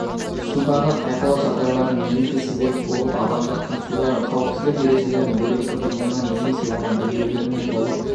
судағы қайғылы жағдайлардың негізгі себебі болып азаматтардың судағы қауіпсіздік ережелерін дөрекі бұзуынан немесе оны білмеулерінен болып